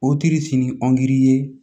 O tiri sini ye